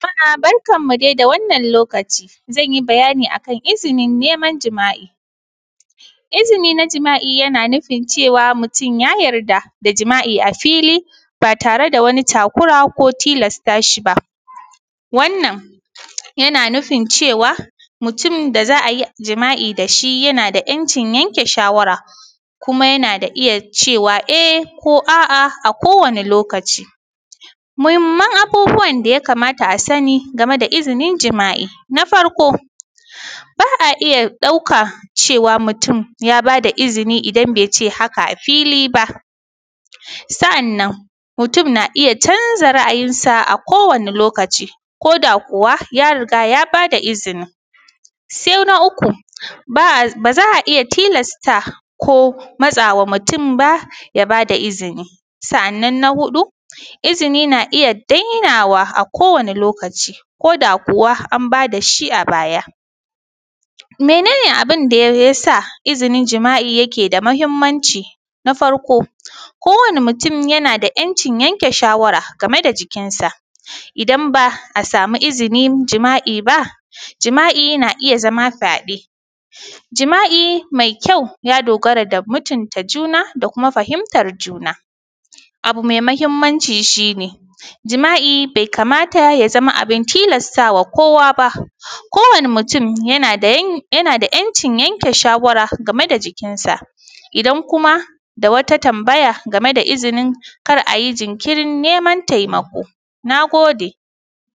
Jama’a barkanmu da dai da wannan lokaci, zan yi bayani akan izinin neman jima’i. Izini na jima’i yana nufin cewa mutum ya yarda da jima’i a fili ba tare da wani takura ko tilasta ci ba. Wannan yana nufin cewa mutum da za a yi jima’i dashi yana da ‘yancin yanke shawara, kuma yana da iya cewa eh ko a’a a kowane lokaci. Muhimman abubuwan daya kamata a sani game da izinin jima’i. Na farko ba’a iya ɗauka cewa mutum ya bada izini idan bai ce haka a fili ba, Sa’annan mutum na iya canza ra’ayinsa a kowani lokaci, koda kuwa ya riga ya bada izini. Sai na uku, baza a iya tilasta ko matsawa mutum ba ya bada izini. Sa’annan na huɗu izini na iya dainawa a kowani lokaci, koda kuwa an bada shi a baya. Mene ne abinda yasa izinin jima’i yake da mahimmanci? Na farko, kowani mutum yana da ‘yancin yanke shawara game da jikinsa, idan ba a samu izini jima’i ba jima’i yana iya zama fyaɗe. Jima’i mai kyau ya dogara ga mutunta juna da kuma fahimtar juna. Abu mai mahimmanci shi ne, jima’i be kamata ya zama abin tilastawa kowa ba, kowani mutum yana da ‘yanci yanke shawara game da jikinsa, idan kuma da wata tambaya game da izinin kar ayi jinkirin neman taimako. Na gode.